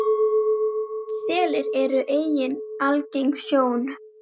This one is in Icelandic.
Selir eru einnig algeng sjón.